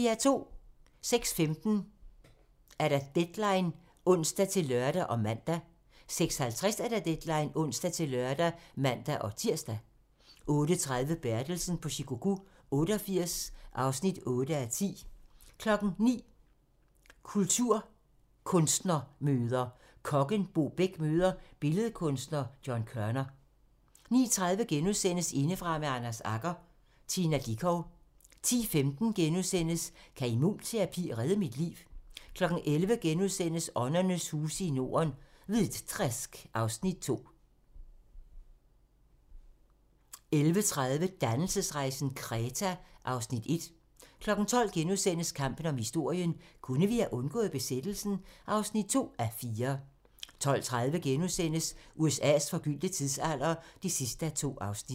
06:15: Deadline (ons-lør og man) 06:50: Deadline (ons-lør og man-tir) 08:30: Bertelsen på Shikoku 88 (8:10) 09:00: Kunstnermøder: Kokken Bo Bech møder billedkunstner John Kørner 09:30: Indefra med Anders Agger - Tina Dickow * 10:15: Kan immunterapi redde mit liv? * 11:00: Åndernes huse i Norden - Hvitträsk (Afs. 2)* 11:30: Dannelsesrejsen - Kreta (Afs. 1) 12:00: Kampen om historien - kunne vi have undgået besættelsen? (2:4)* 12:30: USA's forgyldte tidsalder (2:2)*